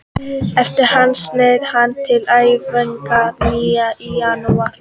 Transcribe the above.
Eftir hana snéri hann til æfinga að nýju í janúar.